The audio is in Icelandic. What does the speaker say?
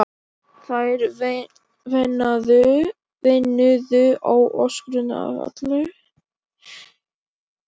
Þær veinuðu og öskruðu af öllum lífs og sálar kröftum.